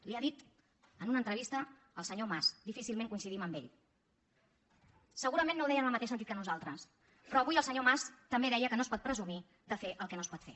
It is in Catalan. li ha dit en una entrevista el senyor mas difícilment coincidim amb ell segurament no ho deia en el mateix sentit que nosaltres però avui el senyor mas també deia que no es pot presumir de fer el que no es pot fer